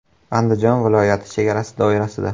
Andijon viloyati chegarasi doirasida.